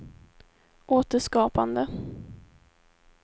återskapande